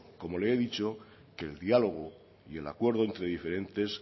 como le he dicho que el diálogo y el acuerdo entre diferentes